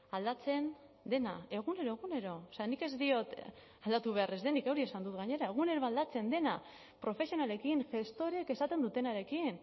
aldatzen dena egunero egunero nik ez diot aldatu behar ez denik hori esan dut gainera egunero aldatzen dena profesionalekin gestoreek esaten dutenarekin